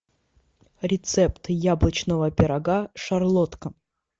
рецепт яблочного пирога шарлотка